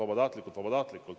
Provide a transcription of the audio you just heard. Vabatahtlikult!